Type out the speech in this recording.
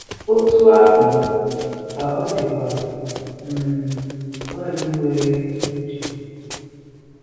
Otú ahụ ka ọ dịkwa um nwaanyị nwere uche.